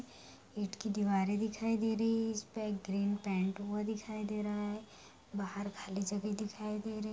ईटकी दीवारे दिखाई दे री है एश पे ग्रीन पेंट वो दिखाई दे रहा है बहार खली जगह दिखाई दे रहा है ।